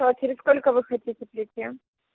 ну а через сколько вы хотите прийти